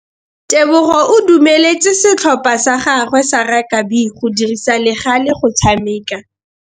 Tebogô o dumeletse setlhopha sa gagwe sa rakabi go dirisa le galê go tshameka.